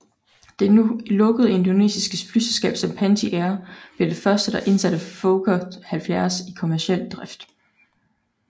Det nu lukkede indonesiske flyselskab Sempati Air blev det første der indsatte Fokker 70 i kommerciel drift